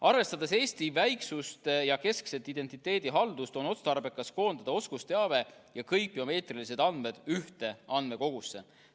Arvestades Eesti väiksust ja keskset identiteedihaldust, on otstarbekas koondada oskusteave ja kõik biomeetrilised andmed ühte andmekogusse.